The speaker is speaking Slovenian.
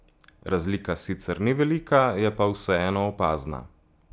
Razlika sicer ni velika, je pa vseeno opazna.